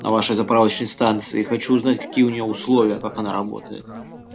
на вашей заправочной станции хочу узнать какие у неё условия как она работает